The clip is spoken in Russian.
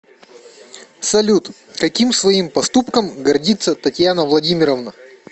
салют каким своим поступком гордится татьяна владимировна